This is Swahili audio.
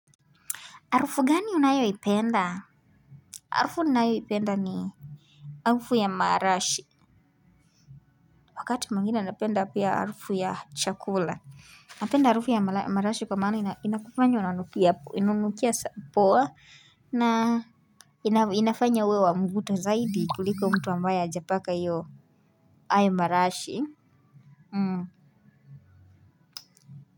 Harufu gani unayo ipenda? Harufu ninayo ipenda ni harufu ya marashi wakati mwingine napenda piya harufu ya chakula napenda harufu ya marashi kwa maana inkufanya unanukia poa na inafanya uwe wa mvuto zaidi kuliko mtu ambaye hajapaka hayo marashi mhm.